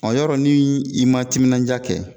yɔrɔ nii i ma timinanja kɛ